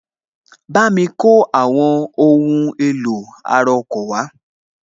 Bámi kó àwọn ohun èlò ara ọkọ̀ wá